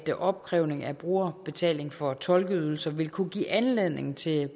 opkrævning af brugerbetaling for tolkeydelser vil kunne give anledning til